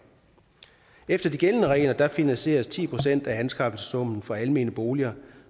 efter de gældende regler finansieres ti procent af anskaffelsessummen for almene boliger